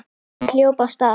Ég hljóp af stað.